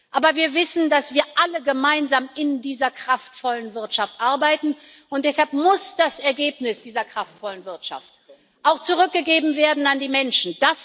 Aber wir wissen, dass wir alle gemeinsam in dieser kraftvollen Wirtschaft arbeiten, und deshalb muss das Ergebnis dieser kraftvollen Wirtschaft auch zurückgegeben werden an die Menschen.